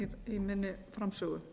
í minni framsögu